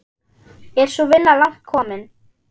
Er sú vinna langt komin.